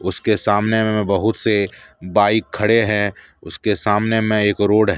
उसके सामने में म बहुत से बाइक खड़े है उसके सामने में एक रोड है।